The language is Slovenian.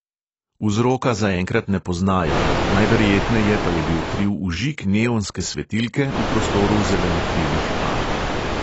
Vzroka zaenkrat ne poznajo, najverjetneje pa je bil kriv vžig neonske svetilke v prostoru zelenokrilih ar.